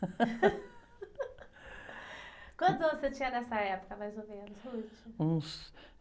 uantos anos você tinha nessa época, mais ou menos, ?ns...